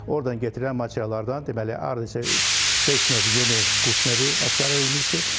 Ordan gətirilən materiallardan deməli hardasa beş növ yeni quş növü aşkarel edilmişdi.